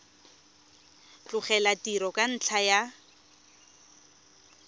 tlogela tiro ka ntlha ya